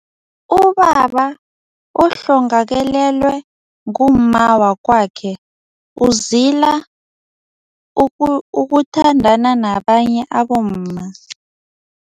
Ubaba ohlongakalelwe ngumma wakwakhe, uzila ukuthandana nabanye abomma.